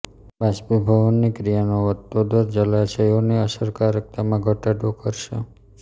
બાષ્પીભવનની ક્રિયાનો વધતો દર જલાશયોની અસરકારકતામાં ઘટાડો કરશે